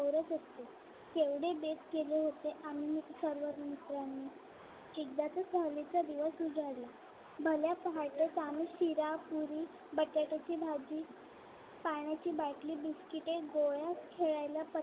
एवढे बेत केले होते आम्ही सर्व मित्रांनी एकदाचा सहलीचा दिवस उजाडला भल्या पहाटे शिरा पुरी बटाट्याची भाजी पाण्याची बाटली बिस्कीटे गोळ्या खेळायला पत्ते